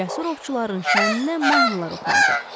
Cəsur ovçuların şənniyə mahnılar oxunacaq.